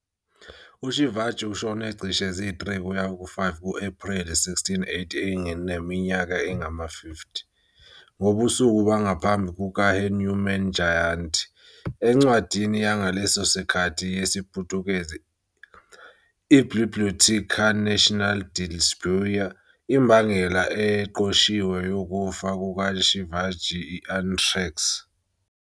UShivaji ushone cishe zi-3-5 ku-Ephreli 1680 eneminyaka engama-50, ngobusuku bangaphambi kukaHanuman Jayanti. Encwadini yangaleso sikhathi yesiPutukezi, i-Biblioteca Nacional de Lisboa, imbangela eqoshiwe yokufa kukaShivaji i-anthrax.